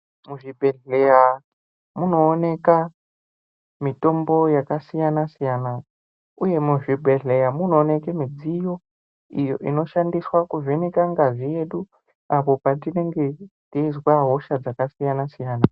Muzvibhedhleya munooneka mitombo yakasiyana-siyana, uye muzvibhedhleya munooneke midziyo iyo inoshandiswa kuvheneke ngazi yedu ,apo tinenge ,teizwa hosha dzakasiyana-siyana.